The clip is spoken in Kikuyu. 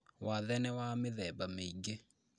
Wathe nĩ wa mĩthemba mĩingĩ